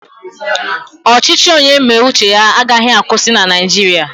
Ọchịchị onye mee uche ya agaghị akwụsị na Naijiria